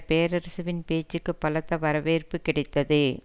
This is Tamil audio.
பேரரசுவின் பேச்சுக்கு பலத்த வரவேற்பு கிடைத்தது